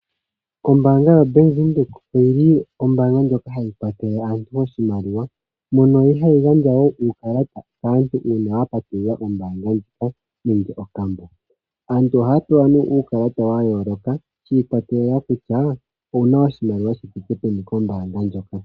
Ombaanga yoBank Windhoek oyili ombaanga ndjoka hayi kwathele aantu oshimaliwa mono hayi gandja woo uukalata kaantu uuna yapatulula ombaanga ndjoka nenge okambo aantu ohaa pewa nee uukalata shi ikwatelela kutya owuna oshimaliwa shi thike peni kombaanga.